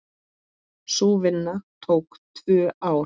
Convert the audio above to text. Sú vinna tók tvö ár.